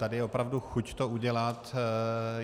Tady je opravdu chuť to udělat.